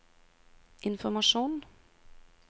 informasjon